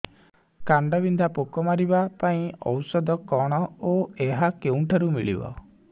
କାଣ୍ଡବିନ୍ଧା ପୋକ ମାରିବା ପାଇଁ ଔଷଧ କଣ ଓ ଏହା କେଉଁଠାରୁ ମିଳିବ